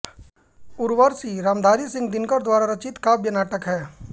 उर्वशी रामधारी सिंह दिनकर द्वारा रचित काव्य नाटक है